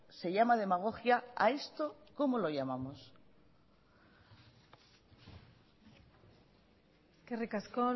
se llama demagogia a esto cómo lo llamamos eskerrik asko